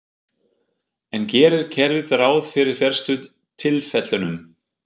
En gerir kerfið ráð fyrir verstu tilfellunum?